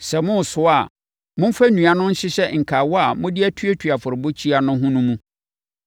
Sɛ moresoa a, momfa nnua no nhyehyɛ nkawa a mode atuatua afɔrebukyia no ho no mu.